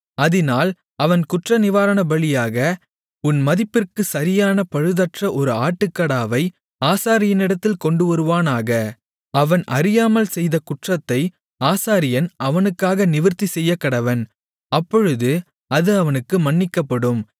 அதினால் அவன் குற்றநிவாரணபலியாக உன் மதிப்பிற்குச் சரியான பழுதற்ற ஒரு ஆட்டுக்கடாவை ஆசாரியனிடத்தில் கொண்டுவருவானாக அவன் அறியாமல் செய்த குற்றத்தை ஆசாரியன் அவனுக்காக நிவிர்த்தி செய்யக்கடவன் அப்பொழுது அது அவனுக்கு மன்னிக்கப்படும்